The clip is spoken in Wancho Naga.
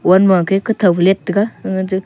wall makey kawtho leit taiga angaje --